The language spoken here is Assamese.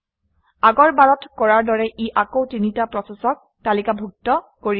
আগৰ বাৰত কৰাৰ দৰে ই আকৌ তিনিটা প্ৰচেচক তালিকাভুক্ত কৰিব